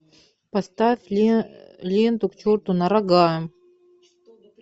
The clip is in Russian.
поставь ленту к черту на рога